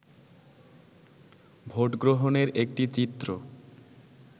ভোটগ্রহণের একটি চিত্র